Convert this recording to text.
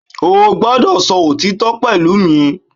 O gbọ́dọ̀ sọ òtítọ́ pẹ̀lú mi